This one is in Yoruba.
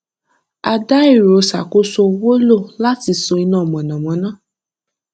a dá ẹrọ ṣàkóso owó lo láti ṣọ iná mọnàmọná